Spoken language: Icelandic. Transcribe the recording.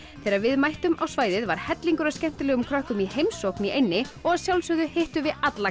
þegar við mættum á svæðið var hellingur af skemmtilegum krökkum í heimsókn í eynni og að sjálfsögðu hittum við alla